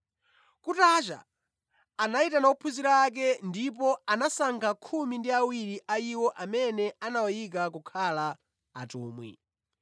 Kutacha, anayitana ophunzira ake ndipo anasankha khumi ndi awiri a iwo amene anawayika kukhala atumwi: